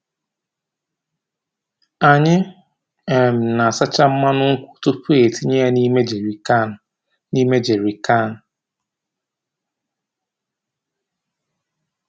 Anyị um na-asacha mmanụ nkwụ tupu etinye ya n'ime jerrycan. n'ime jerrycan.